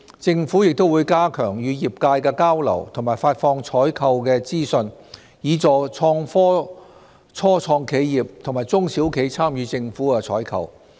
政府亦會加強與業界的交流和發放採購資訊，以協助創科初創企業和中小企參與政府採購。